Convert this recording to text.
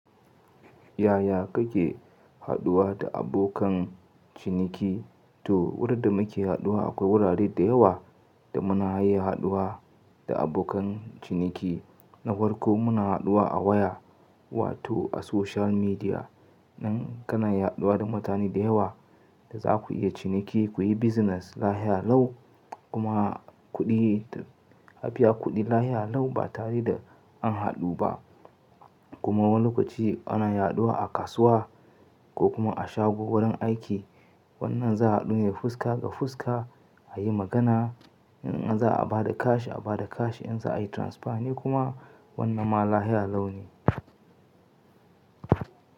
Yaya kake haɗuwa da abokan ciniki? To, wurin da muke haɗuwa akwai wurare da yawa da muna iya haɗuwa da abokan ciniki. Na farko muna haɗuwa a waya wato a social media. Nan kana iya haɗuwa da mutane da yawa da za ku iya ciniki, ku yi business lafiya lau kuma kuɗi, a biya kuɗi lafiya lau ba tare da an haɗu ba. Kuma wani lokaci ana haɗuwa a kasuwa ko kuma a shago wurin aiki. Wannan za a haɗu ne fuska ga fuska a yi magana. In an za a ba da kash a ba da kash in za a yi transfer ne kuma wannan ma lafiya lau ne.